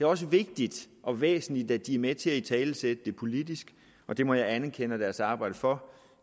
også vigtigt og væsentligt at de er med til at italesætte det politisk og det må jeg anerkende deres arbejde for